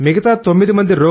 మిగతా 9 మంది